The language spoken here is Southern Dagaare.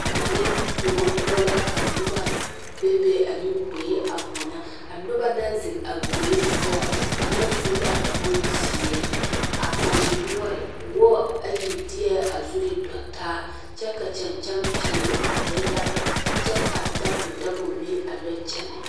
Manne kõɔ poɔ la ka noba bebe ane gboe a mɔno a noba naŋ zeŋ a gboe poɔ kaŋa su la boŋ zeɛ a mane noɔre wɔɔre ayi de la a zuri tɔ taa ka kyɛŋkyɛmpeɛle a yɔ ɛgra kyɛ ka a dabodabo meŋ a yɔ kyɛnɛ.